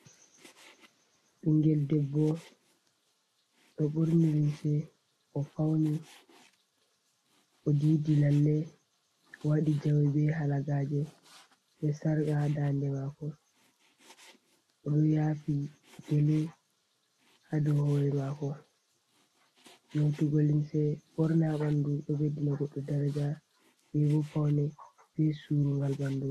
Ɓingel debbo ɗo ɓorni limse, o fawni, o diidi lalle, waɗi jawe be halagaaje, be sarqa ha daande maako, o ɗo yaafi gele ha dow hoore maako. Nyootugo limse ɓorna ha ɓandu, ɗo ɓeddina goɗɗo daraja, be bo pawne, be suurungal ɓandu.